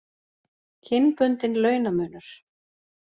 Kynbundinn launamunur.